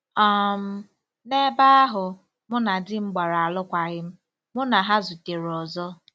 um N'ebe ahụ, mụ na di m gbara alụkwaghịm, mụ na ha zutere ọzọ.